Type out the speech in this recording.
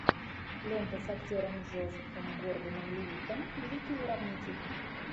лента с актером джозефом гордоном левиттом великий уравнитель